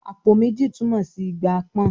"Àpò méjì" túmọ̀ sí ìgbà pọ́n-ọ́n